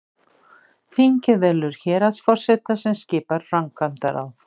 þingið velur héraðsforseta sem skipar framkvæmdaráð